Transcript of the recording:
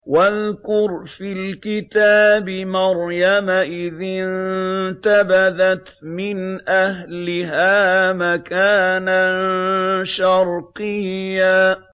وَاذْكُرْ فِي الْكِتَابِ مَرْيَمَ إِذِ انتَبَذَتْ مِنْ أَهْلِهَا مَكَانًا شَرْقِيًّا